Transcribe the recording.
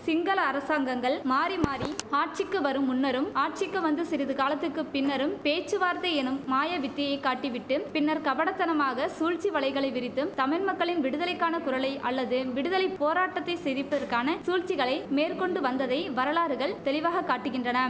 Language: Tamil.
சிங்கள அரசாங்கங்கள் மாறிமாறி ஆட்சிக்கு வரும் முன்னரும் ஆட்சிக்கு வந்து சிறிது காலத்துக்கு பின்னரும் பேச்சுவார்த்தை எனும் மாயவித்தையை காட்டிவிட்டும் பின்னர் கபடத்தனமாக சூழ்ச்சி வலைகளை விரித்தும் தமிழ் மக்களின் விடுதலைக்கான குரலை அல்லது விடுதலை போராட்டத்தை சிதிப்பதற்கான சூழ்ச்சிகளை மேற்கொண்டு வந்ததை வரலாறுகள் தெளிவாக காட்டுகின்றன